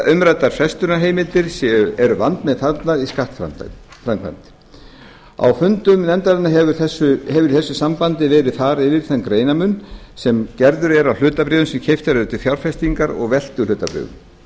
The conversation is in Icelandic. umræddar frestunarheimildir eru vandmeðfarnar í skattframkvæmd á fundum nefndarinnar hefur í þessu sambandi verið farið yfir þann greinarmun sem gerður er á hlutabréfum sem keypt eru til fjárfestingar og veltuhlutabréfum